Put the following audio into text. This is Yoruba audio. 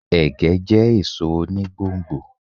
Ẹ̀gẹ́ jẹ́ èso oni gbò n gbò